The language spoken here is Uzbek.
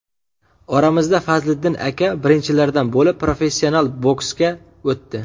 Oramizda Fazliddin aka birinchilardan bo‘lib professional boksga o‘tdi.